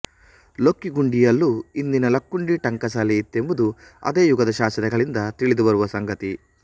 ಲೊಕ್ಕಿಗುಂಡಿಯಲ್ಲೂ ಇಂದಿನ ಲಕ್ಕುಂಡಿ ಟಂಕಸಾಲೆ ಇತ್ತೆಂಬುದು ಅದೇ ಯುಗದ ಶಾಸನಗಳಿಂದ ತಿಳಿದುಬರುವ ಸಂಗತಿ